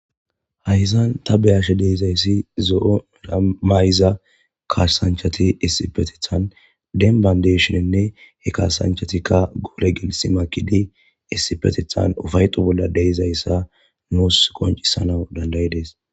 Hayyzan ta beyashe deezayssi zo7o ira mayza kaashsanchati issipetithan den bandeshininne he kaasanchatikka guure gelisi makidi issipetithan ufayxu bolla deizayssa nuus qoncisanau dandayi dees.